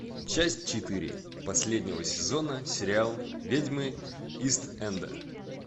часть четыре последнего сезона сериал ведьмы ист энда